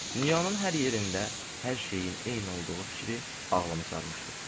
Dünyanın hər yerində hər şeyin eyni olduğu fikri ağlımı sarmışdı.